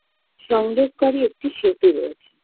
সংযোগকারী একটি সেতু রয়েছে